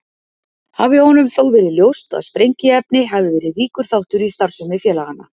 Hafi honum þó verið ljóst að sprengiefni hefði verið ríkur þáttur í starfsemi félaganna.